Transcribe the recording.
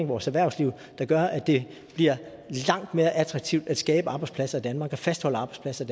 vores erhvervsliv der gør at det bliver langt mere attraktivt at skabe arbejdspladser i danmark og fastholde arbejdspladser